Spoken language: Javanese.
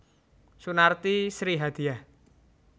Sunarti Sri Hadiyah